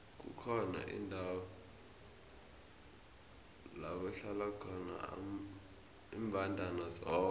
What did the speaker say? kukhona indawo lakuhlala khona imbandana zodwa